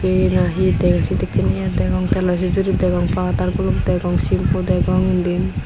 ye nahidey sedekken ye degong telo sijiri degong powder guluk degong simpu degong indi.